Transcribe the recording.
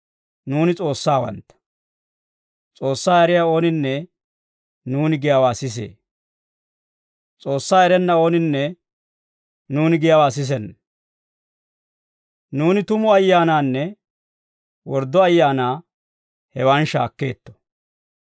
Nuuni S'oossawantta; S'oossaa eriyaa ooninne nuuni giyaawaa sisee. S'oossaa erenna ooninne nuuni giyaawaa sisenna. Nuuni tumu ayyaanaanne worddo ayaanaa hewan shaakkeetto.